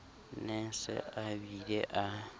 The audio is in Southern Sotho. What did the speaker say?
ne a se abile a